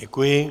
Děkuji.